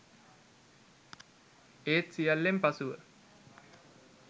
ඒත් සියල්ලෙන් පසුව